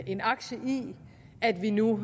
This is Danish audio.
en aktie i at vi nu